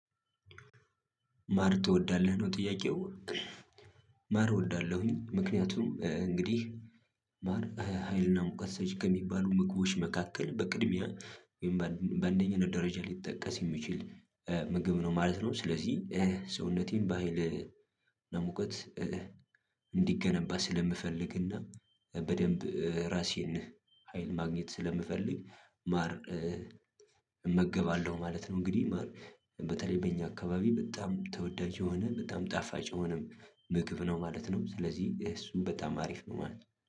ማር ትወዳለህ ነው ጥያቄው? ማር እወዳለሁኝ ምክንያቱም እንግዲህ ማር ሀይልና ሙቀት ሰጪ ከሚባሉ ምግቦች መካከል በቅድሚያ በአንደኛነት ደረጃ ሊጠቀስ የሚችል ምግብ ነው ማለት ነው። ስለዚህ ሰውነቴን ባህል ለሙቀት እንዲገነባ ስለምፈልግና በደንብ ራሴን ሀይል ማግኘት ስለምፈልግ ማር እመገባለሁ ማለት ነው። እንግዲህ ማር በተለይ በእኛ አካባቢ በጣም ተወዳጅ የሆነ በጣም ጣፋጭ የሆነም ምግብ ነው ማለት ነው። ስለዚህ እሱን በጣም አሪፍ ነው ማለት ነው።